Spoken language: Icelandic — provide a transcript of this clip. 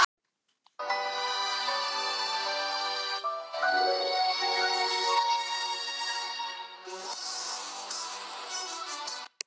Góði vertu nú ekki svona hátíðlegur, Diddi minn!